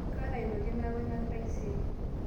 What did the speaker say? kaata aitoki nnaipangaki taaisere